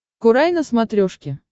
курай на смотрешке